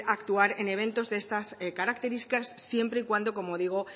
actuar en eventos de estas características siempre y cuando como digo